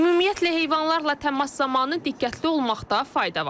Ümumiyyətlə heyvanlarla təmas zamanı diqqətli olmaqda fayda var.